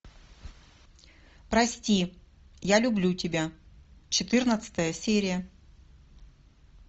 прости я люблю тебя четырнадцатая серия